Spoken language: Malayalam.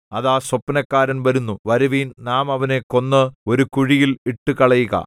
അതാ സ്വപ്നക്കാരൻ വരുന്നു വരുവിൻ നാം അവനെ കൊന്ന് ഒരു കുഴിയിൽ ഇട്ടുകളയുക